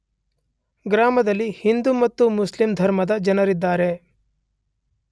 ಗ್ರಾಮದಲ್ಲಿ ಹಿಂದೂ ಮತ್ತು ಮುಸ್ಲಿಂ ಧರ್ಮದ ಜನರಿದ್ದಾರೆ.